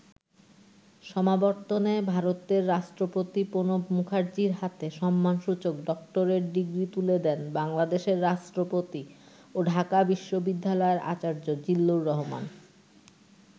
সমাবর্তনে ভারতের রাষ্ট্রপতি প্রণব মুখার্জির হাতে সম্মানসূচক ডক্টরেট ডিগ্রি তুলে দেন বাংলাদেশের রাষ্ট্রপতি ও ঢাকা বিশ্বদ্যিালয়ের আচার্য জিল্লুর রহমান।